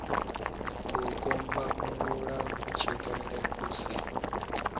u kombamulula kutshilele ku si